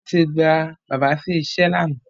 Wọ́n ti gba bàbá sí iṣẹ́ lánàá.